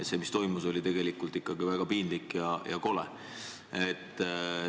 Ja see, mis toimus, oli tegelikult väga piinlik ja kole.